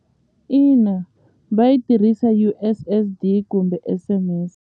Ina U_S_S_D kumbe S_M_S.